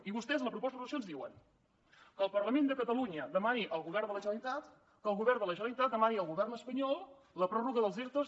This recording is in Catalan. i vostès a la proposta de resolució ens diuen que el parlament de catalunya demani al govern de la generalitat que el govern de la generalitat demani al govern espanyol la pròrroga dels ertos